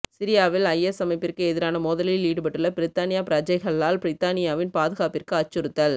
சிரியாவில் ஐஎஸ் அமைப்பிற்கு எதிரான மோதலில் ஈடுபட்டுள்ள பிரித்தானிய பிரஜைகளால் பிரித்தானியாவின் பாதுகாப்பிற்கு அச்சுறுத்தல்